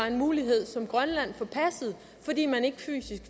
en mulighed som grønland forpassede fordi man ikke